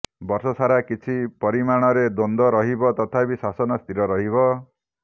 ବର୍ଷ ସାରା କିଛି ପରିମାଣରେ ଦ୍ୱନ୍ଦ୍ୱ ରହିବ ତଥାପି ଶାସନ ସ୍ଥିର ରହିବ